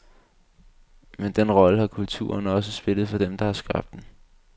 Men den rolle har kulturen også spillet for dem, der har skabt den.